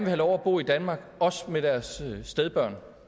have lov at bo i danmark også med deres stedbørn